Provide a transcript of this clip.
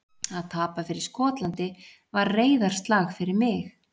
Að tapa fyrir Skotlandi var reiðarslag fyrir mig.